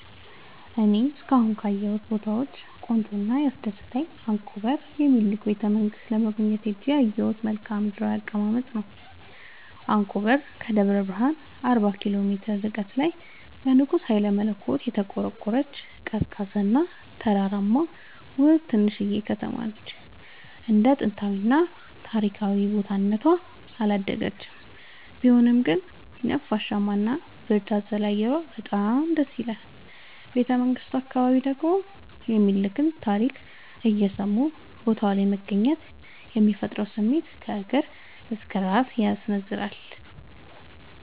እኔ እስካሁን ካየሁት ቦታወች ቆንጆው እና ያስደሰተኝ አንኮበር የሚኒልክን ቤተ-መንግስት ለመጎብኘት ሄጄ ያየሁት መልከአ ምድራዊ አቀማመጥ ነው። አንኮበር ከደብረ ብረሃን አርባ ኪሎ ሜትር ርቀት ላይ በንጉስ ሀይለመለኮት የተቆረቆረች፤ ቀዝቃዛ እና ተራራማ ውብ ትንሽዬ ከተማነች እንደ ጥንታዊ እና ታሪካዊ ቦታ እነቷ አላደገችም ቢሆንም ግን ነፋሻማ እና ብርድ አዘል አየሯ በጣም ደስይላል። ቤተመንግቱ አካባቢ ደግሞ የሚኒልክን ታሪክ እየሰሙ ቦታው ላይ መገኘት የሚፈጥረው ስሜት ከእግር እስከ እራስ ያስነዝራል።